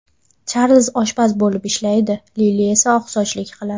Charlz oshpaz bo‘lib ishlaydi, Lili esa oqsochlik qiladi.